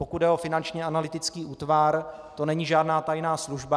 Pokud jde o Finanční analytický útvar, to není žádná tajná služba.